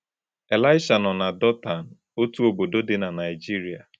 Elisha nọ na Dotan, otu obodo dị na Naịjirịa.